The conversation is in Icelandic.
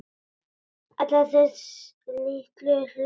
Alla þessa litlu hluti.